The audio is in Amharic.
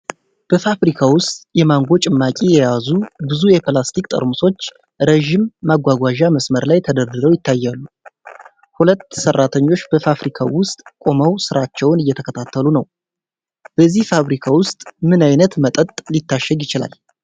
በፋብሪካ ውስጥ የማንጎ ጭማቂ የያዙ ብዙ የፕላስቲክ ጠርሙሶች ረጅም ማጓጓዣ መስመር ላይ ተደርድረው ይታያሉ። ሁለት ሰራተኞች በፋብሪካው ውስጥ ቆመው ስራቸውን እየተከታተሉ ነው። በዚህ ፋብሪካ ውስጥ ምን ዓይነት መጠጥ ሊታሸግ ይችላል?